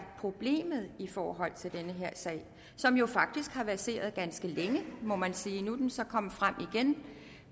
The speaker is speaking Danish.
problemet i forhold til den her sag som jo faktisk har verseret ganske længe må man sige nu er den så er kommet frem igen